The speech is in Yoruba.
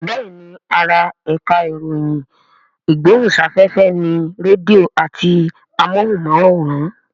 Bẹ́ẹ̀ni ara ẹ̀ka ìròyìn ìgbóhùnsáfẹ́fẹ́ ni rédíò àti amóhùnmáwòrán